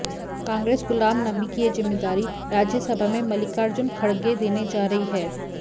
कांग्रेस गुलाम नबी की ये जिम्मेदारी राज्यसभा में मल्लिकार्जुन खड़गे देने जा रही है